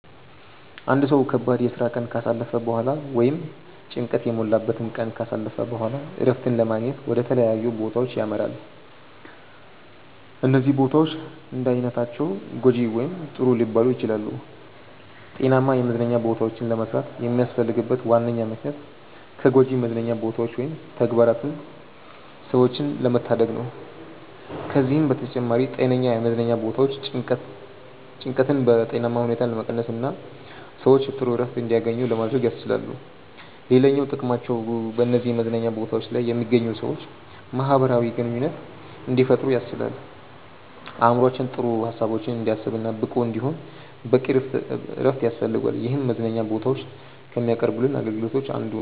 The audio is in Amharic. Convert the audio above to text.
አንድ ሰው ከባድ የስራ ቀን ካሳለፈ በኋላ ወይም ጭንቀት የሞላበትን ቀን ካሳለፈ በኋላ እረፍትን ለማግኘት ወደ ተለያዩ ቦታዎች ያመራል። እነዚህ ቦታዎች እንዳይነታቸው ጐጂ ወይም ጥሩ ሊባሉ ይችላሉ። ጤናማ የመዝናኛ ቦታዎችን ለመስራት የሚያስፈልግበት ዋነኛ ምክንያት ከጎጂ መዝናኛ ቦታዎች ወይም ተግባራት ሰዎችን ለመታደግ ነው። ከዚህም በተጨማሪ ጤነኛ የመዝናኛ ቦታዎች ጭንቀትን በጤናማ ሁኔታ ለመቀነስና ሰዎች ጥሩ እረፍት እንዲያገኙ ለማድረግ ያስችላሉ። ሌላኛው ጥቅማቸው በነዚህ መዝናኛ ቦታዎች ላይ የሚገኙ ሰዎች ማህበራዊ ግንኙነት እንዲፈጥሩ ያስችላል። አእምሮአችን ጥሩ ሀሳቦችን እንዲያስብ እና ብቁ እንዲሆን በቂ እረፍት ያስፈልገዋል ይህም መዝናኛ ቦታዎች ከሚያቀርቡልን አገልግሎቶች አንዱ ነው።